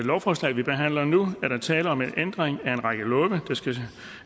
lovforslaget vi behandler nu er der tale om en ændring af en række love der skal